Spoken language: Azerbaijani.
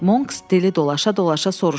Monks dili dolaşa-dolaşa soruşdu.